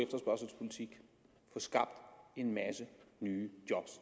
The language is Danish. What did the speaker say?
få skabt en masse nye